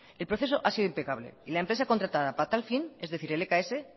el proceso ha sido impecable y la empresa contratada para tal fin es decir lks